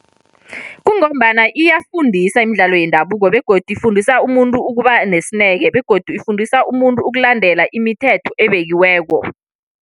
Kungombana iyafundisa imidlalo yendabuko, begodu ifundisa umuntu ukuba nesineke, begodu ifundisa umuntu ukulandela imithetho ebekiweko.